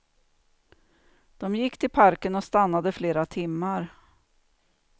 De gick till parken och stannade flera timmar.